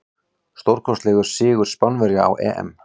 Stórkostlegur sigur Spánverja á EM.